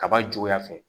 Kaba juguya fɛ